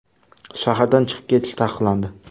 Shahardan chiqib ketish taqiqlandi.